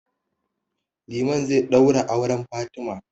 Liman zai ɗaura auren Fatima.